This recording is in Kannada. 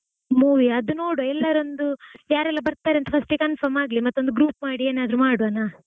Movie ಯಾ ಅದು ನೋಡುವಾ ಎಲ್ಲಾರೂ ಒಂದು ಯಾರೆಲ್ಲ ಬರ್ತಾರೆ ಅಂತ first confirm ಆಗ್ಲಿ ಮತ್ತೊಂದು group ಮಾಡಿ ಏನಾದ್ರು ಮಾಡ್ವಾನಾ?